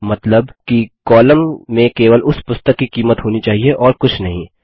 मतलब कि कॉलम में केवल उस पुस्तक की कीमत होनी चाहिए और कुछ नहीं